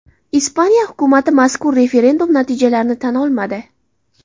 Ispaniya hukumati mazkur referendum natijalarini tan olmadi.